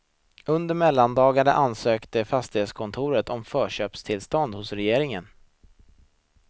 Under mellandagarna ansökte fastighetskontoret om förköpstillstånd hos regeringen.